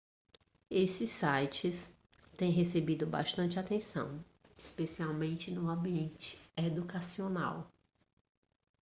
esses sites têm recebido bastante atenção especialmente no ambiente educacional